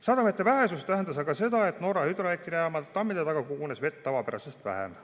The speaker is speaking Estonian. Sademete vähesus tähendas aga seda, et Norra hüdroelektrijaama tammide taha kogunes vett tavapärasest vähem.